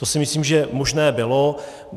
To si myslím, že možné bylo.